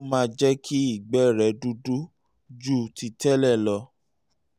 ìyẹn ló máa jẹ́ kí ìgbẹ́ rẹ dúdú ju ti tẹ́lẹ̀ lọ